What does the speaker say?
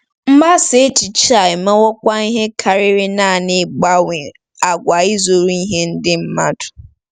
Mgbasa echiche a emewokwa ihe karịrị nanị ịgbanwe àgwà ịzụrụ ihe ndị mmadụ.